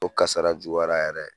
O kasara juguyara yɛrɛ dɛ.